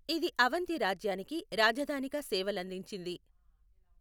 ఇది అవంతి రాజ్యానికి రాజధానిగా సేవలందించింది.